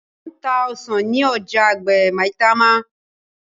Wón tá ọsán ní ọjà àgbè Maitama